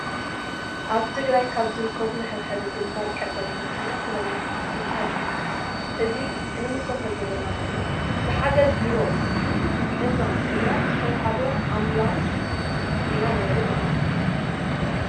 አብ ትግራይ ካብ ዝርከቡ መሕብሕቢ ግንባር ቀደም ዝኮነ ፍሬመናጦስ ትካል አዩ። እዚ እንምልክቶ ዘለና ድማ ብሓገዝ ቢሮ ጥዕና ትግራይ ዝተወሃበት አብላስ ኢና ንሪኢ ዘለና ።